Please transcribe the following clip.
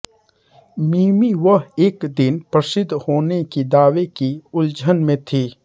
मिमी वह एक दिन प्रसिद्ध होने कि दावे की उलझन में थी